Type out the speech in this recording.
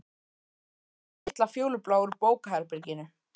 Ég tók þann litla fjólubláa úr bókaherberginu.